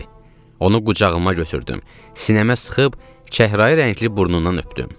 Onu qucağıma götürdüm, sinəmə sıxıb çəhrayı rəngli burnundan öpdüm.